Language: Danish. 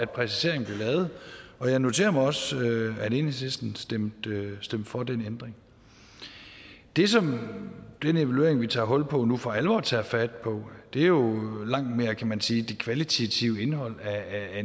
præciseringen blev lavet jeg noterer mig også at enhedslisten stemte for den ændring det som den evaluering vi tager hul på nu for alvor tager fat på er jo langt mere kan man sige det kvalitative indhold af